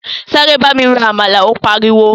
Sáré bámi ro “àmàlà” ó pariwo.